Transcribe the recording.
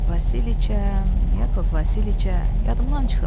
Vasiliça, Yakov Vasiliça, yadımdan çıxıb.